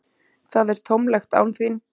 Það er tómlegt án þín.